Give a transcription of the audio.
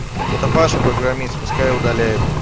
это паша программист пускай удаляет